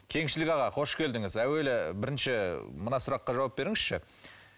кеңшілік аға қош келдіңіз әуелі бірінші мына сұраққа жауап беріңізші